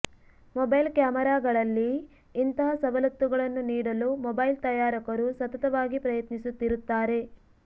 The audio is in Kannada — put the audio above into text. ಮೊಬೈಲ್ ಕ್ಯಾಮೆರಾಗಳಲ್ಲಿ ಇಂತಹ ಸವಲತ್ತುಗಳನ್ನು ನೀಡಲು ಮೊಬೈಲ್ ತಯಾರಕರೂ ಸತತವಾಗಿ ಪ್ರಯತ್ನಿಸುತ್ತಿರುತ್ತಾರೆ